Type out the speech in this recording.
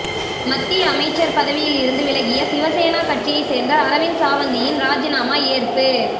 மத்திய அமைச்சர் பதவியில் இருந்து விலகிய சிவசேனா கட்சியை சேர்ந்த அரவிந்த் சாவந்த்தின் ராஜினாமா ஏற்பு